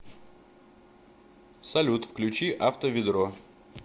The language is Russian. салют включи авто ведро